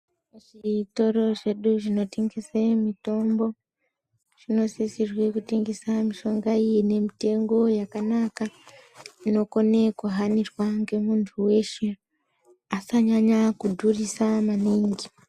Zvitoro zvedu zvinotengese mitombo zvinosisirwe kutengesa mishonga inemitengo yakanaka inokone kuhanirwa nemuntu weshe. Asanyanya kudhurisa maningi.